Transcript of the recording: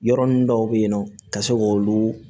Yɔrɔ ninnu dɔw bɛ yen nɔ ka se k'olu